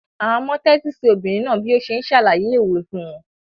Àwọn ọmọ tẹ́tí sí obìnrin náà bí ó ṣe ń ṣàlàyé òwe fún wọn.